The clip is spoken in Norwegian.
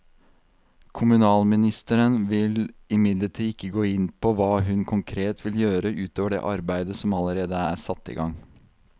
Kommunalministeren vil imidlertid ikke gå inn på hva hun konkret vil gjøre ut over det arbeidet som allerede er satt i gang.